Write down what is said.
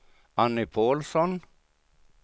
Annie Paulsson